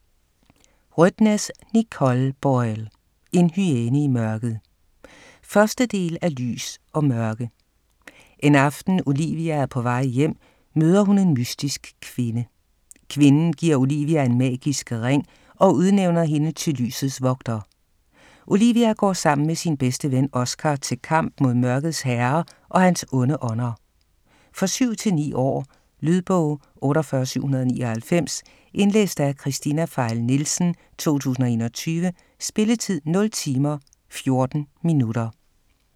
Rødtnes, Nicole Boyle: En hyæne i mørket 1. del af Lys & Mørke. En aften Olivia er på vej hjem, møder hun en mystisk kvinde. Kvinden giver Olivia en magisk ring og udnævner hende til lysets vogter. Olivia går sammen med sin bedste ven, Oscar, til kamp mod mørkets herre og hans onde ånder. For 7-9 år. Lydbog 48799 Indlæst af Kristina Pfeil Nielsen, 2021. Spilletid: 0 timer, 14 minutter.